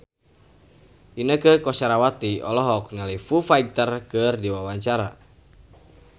Inneke Koesherawati olohok ningali Foo Fighter keur diwawancara